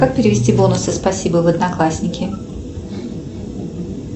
как перевести бонусы спасибо в одноклассники